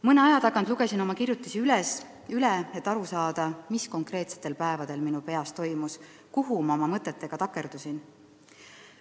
Mõne aja tagant lugesin oma kirjutisi üle, et aru saada, mis konkreetsetel päevadel minu peas toimus, kuhu ma oma mõtetega takerdusin.